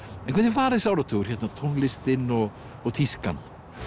var þessi áratugur hérna tónlistin og og tískan